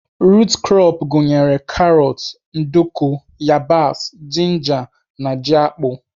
Rut krọp gụnyere karọt, nduku, yabasị, jinja na ji akpụ.